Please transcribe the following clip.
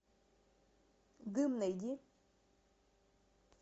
дым найди